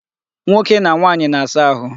Nwoke na nwaanyị na-asa ahu.